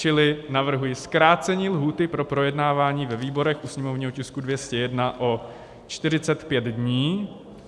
Čili navrhuji zkrácení lhůty pro projednávání ve výborech u sněmovního tisku 201 o 45 dní.